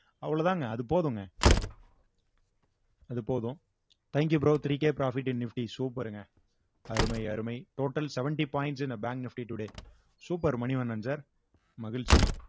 அவ்வளவுதாங்க அது போதுங்க அது போதும் thank you bro three K profit in nifty super ங்க அருமை அருமை total seventy points in a bank nifty today super Manivannan sir மகிழ்ச்சி